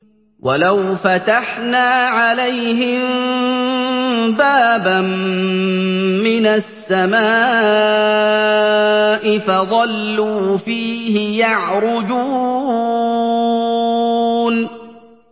وَلَوْ فَتَحْنَا عَلَيْهِم بَابًا مِّنَ السَّمَاءِ فَظَلُّوا فِيهِ يَعْرُجُونَ